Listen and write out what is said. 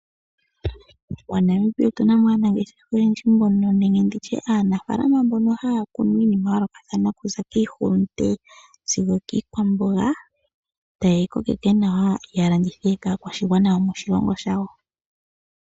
MoNamibia otu na mo aanafalama mbono haya kunu iinima ya yoolokathana okuza kiihulunde sigo okiikwamboga, taye yi kokeke nawa ya landithe kaakwashigwana yomoshilongo shawo.